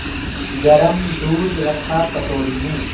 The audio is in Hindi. गरम दूध रखा कटोरी में